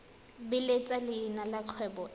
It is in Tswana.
beeletsa leina la kgwebo e